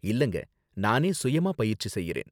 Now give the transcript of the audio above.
இல்லங்க, நானே சுயமா பயிற்சி செய்யறேன்.